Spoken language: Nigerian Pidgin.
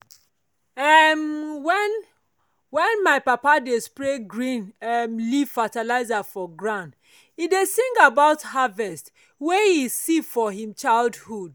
um when my when my papa dey spread green um leaf fertilizer for ground e dey sing about harvest wey e see for him childhood.